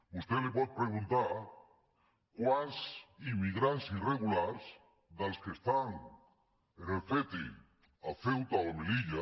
vostè li pot preguntar quants im·migrants irregulars dels que estan en el ceti a ceuta o melilla